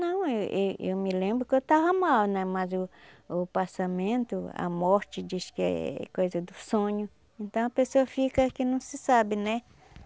Não, e e eu me lembro que eu estava mal né, mas o o passamento, a morte diz que é coisa do sonho, então a pessoa fica que não se sabe, né?